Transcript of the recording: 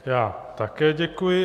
Já také děkuji.